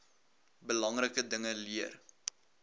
belangrike dinge leer